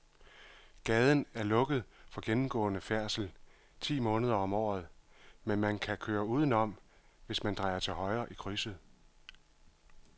Gaden er lukket for gennemgående færdsel ti måneder om året, men man kan køre udenom, hvis man drejer til højre i krydset.